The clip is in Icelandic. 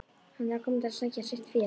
Hann er að koma til að sækja sitt fé.